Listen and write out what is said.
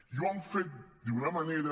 i ho hem fet d’una manera